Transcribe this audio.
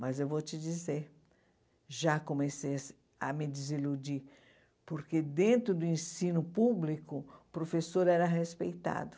Mas eu vou te dizer, já comecei a se a me desiludir, porque dentro do ensino público, o professor era respeitado.